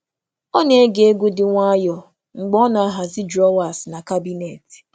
Ọ na-ege egwu um dị jụụ na-enweghị okwu um mgbe um ọ na-emecha igbe na akpati.